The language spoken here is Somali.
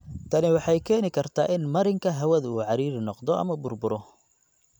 Tani waxay keeni kartaa in marinka hawadu uu ciriiri noqdo ama burburo.